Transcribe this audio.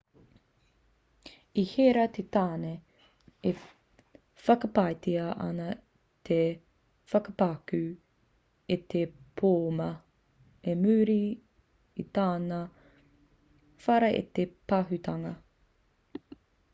i herea te tāne e whakapaetia ana te whakapakū i te pōma i muri i tāna whara i te pahūtanga